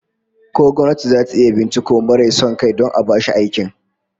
Ko gwamnati zata iya binciko marai son kai don a bashi aikin?